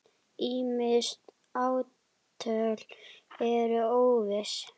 Ýmis ártöl eru óviss.